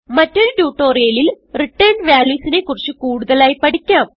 മറ്റൊരു ട്യൂട്ടോറിയലിൽ returned values നെ കുറിച്ച് കൂടുതലായി പഠിക്കാം